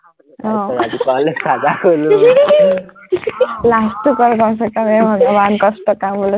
আহ last টো কৰ বাৰু, ইমান কষ্টৰ কাম বোলে